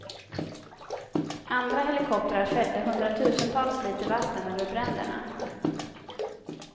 Andra helikoptrar fällde hundratusentals liter vatten över bränderna.